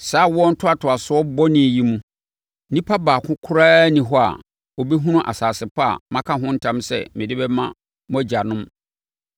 “Saa awoɔ ntoatoasoɔ bɔne yi mu, onipa baako koraa nni hɔ a ɔbɛhunu asase pa a maka ho ntam sɛ mede bɛma mo agyanom